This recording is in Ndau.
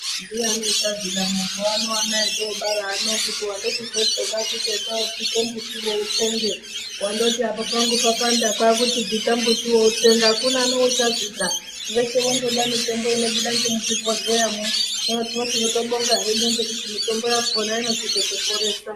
Ndiyani uchazvida mazuwa ano otobara ano kuti wandoti kotso kwakuti enda wobvita mumbuti uyo utsenge wandoti apa pangu papanda kwati bvita mumbuti uyo utsenge akuna neuchazvida veshe vondoda mitombo inobva ngemuzvi bhodhleyamwo hino tinobonga ngekuti mitombo yakona inochi zotoporesa.